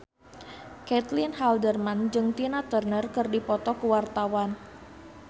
Caitlin Halderman jeung Tina Turner keur dipoto ku wartawan